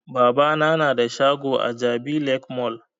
Babana na da shago a jabi lake mall